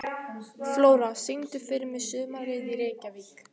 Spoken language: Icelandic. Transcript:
Flóra, syngdu fyrir mig „Sumarið í Reykjavík“.